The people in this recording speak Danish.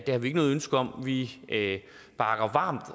har vi ikke noget ønske om vi bakker varmt